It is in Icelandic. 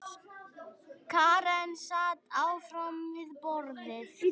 Karen sat áfram við borðið.